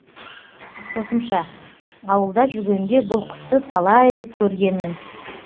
қосымша ауылда жүргенде бұл құсты талай рет көргенмін